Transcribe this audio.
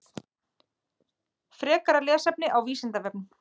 Frekara lesefni á Vísindavefnum: